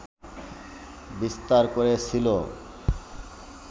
বিস্তার করেছিল